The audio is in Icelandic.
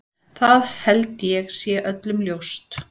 Það held ég sé öllum ljóst.